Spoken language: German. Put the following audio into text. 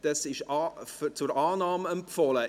Diese ist zur Annahme empfohlen.